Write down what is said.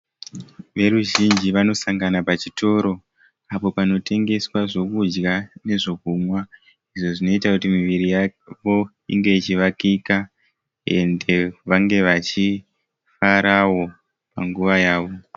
Veruzhinji vanosanga pachitoro apo panotengeswa zvokudya nezvokunwa izvo zvinoita kuti miviri yavo inge ichivakika ende vange vachifarawo panguva yavo.